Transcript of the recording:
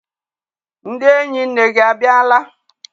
Ndị enyi nne gị abịala?